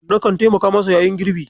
Na kan taimaka masa yayin girbi.